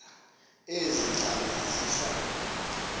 ezi ntlanga zihla